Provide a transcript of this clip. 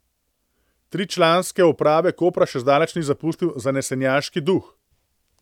Tričlanske uprave Kopra še zdaleč ni zapustil zanesenjaški duh.